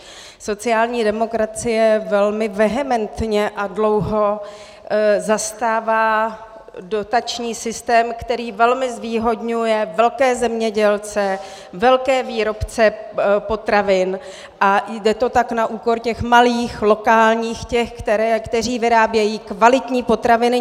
Sociální demokracie velmi vehementně a dlouho zastává dotační systém, který velmi zvýhodňuje velké zemědělce, velké výrobce potravin, a jde to tak na úkor těch malých, lokálních, těch, kteří vyrábějí kvalitní potraviny.